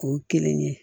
O ye kelen ye